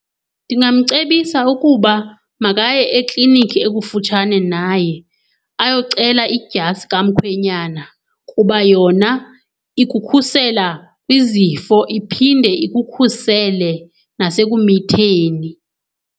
Ndingamcebisa ukuba makaye eklinikhi ekufutshane naye ayocela idyasi kamkhwenyana kuba yona ikukhusela kwizifo iphinde ikukhusele nasekumitheni.